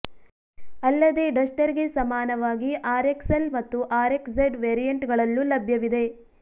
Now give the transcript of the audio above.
ಅಲ್ಲದೆ ಡಸ್ಟರ್ ಗೆ ಸಮಾನವಾಗಿ ಆರ್ ಎಕ್ಸ್ ಎಲ್ ಮತ್ತು ಆರ್ ಎಕ್ಸ್ ಝಡ್ ವೆರಿಯಂಟ್ ಗಳಲ್ಲೂ ಲಭ್ಯವಾಗಲಿದೆ